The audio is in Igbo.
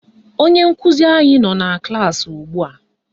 Onye nkụzi anyị nọ na klaasị ugbua